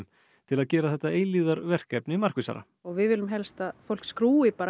til að gera þetta eilífðarverkefni markvissara við viljum helst að fólk skrúfi bara